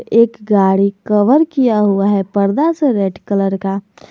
एक गाड़ी कवर किया हुआ है पर्दा से रेड कलर का।